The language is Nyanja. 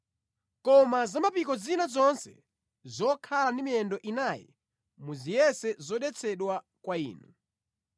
Koma za mapiko zina zonse zokhala ndi miyendo inayi muzitenge kukhala zodetsedwa kwa inu.